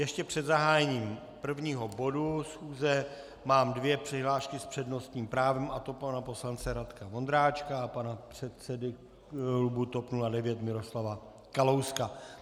Ještě před zahájením prvního bodu schůze mám dvě přihlášky s přednostním právem, a to pana poslance Radka Vondráčka a pana předsedy klubu TOP 09 Miroslava Kalouska.